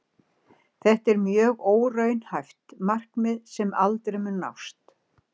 Þetta er mjög óraunhæft markmið sem aldrei mun nást.